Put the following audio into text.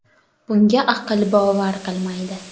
Bunga aql bovar qilmaydi.